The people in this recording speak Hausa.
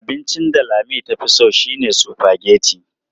Abincin da Lami tafi so shine sufageti.